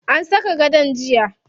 An saka gadon jiya.